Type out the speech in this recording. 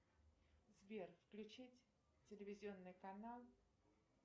сбер включить телевизионный канал